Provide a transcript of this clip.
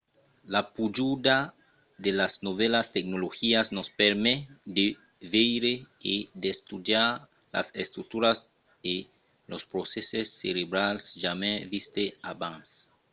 la pujada de las novèlas tecnologias nos permet de veire e d'estudiar las estructuras e los procèsses cerebrals jamai vistes abans